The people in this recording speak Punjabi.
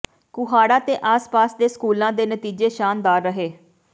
ਕੁਹਾੜਾ ਤੇ ਆਸ ਪਾਸ ਦੇ ਸਕੂਲਾਾ ਦੇ ਨਤੀਜੇ ਸ਼ਾਨਦਾਰ ਰਹੇ